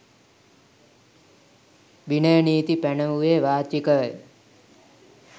විනය නීති පැනවූයේ වාචිකවය.